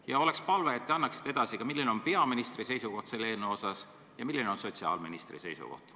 Ja veel on palve, et te annaksite edasi ka, milline on peaministri seisukoht selle eelnõu osas ja milline on sotsiaalministri seisukoht.